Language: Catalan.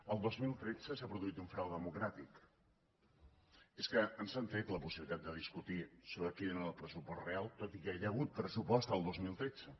el dos mil tretze s’ha produït un frau democràtic i és que ens han tret la possibilitat de discutir sobre quin era el pressupost real tot i que hi ha hagut pressupost el dos mil tretze